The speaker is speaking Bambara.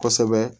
Kosɛbɛ